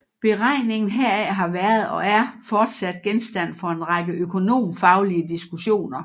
Beregningen heraf har været og er fortsat genstand for en række økonomfaglige diskussioner